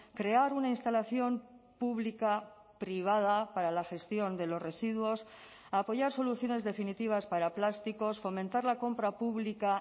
crear una instalación pública privada para la gestión de los residuos a apoyar soluciones definitivas para plásticos fomentar la compra pública